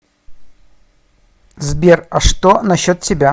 сбер а что насчет тебя